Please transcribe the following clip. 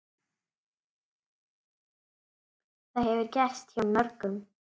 Það hefur gerst hjá mörgum.